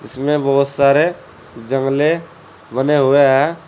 इसमें बहुत सारे जंगले बने हुए हैं।